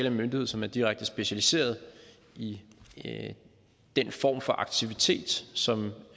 en myndighed som er direkte specialiseret i den form for aktivitet som